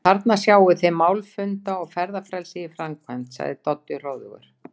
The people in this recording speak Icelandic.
Þarna sjáið þið mál- funda- og ferðafrelsið í framkvæmd sagði Doddi hróðugur.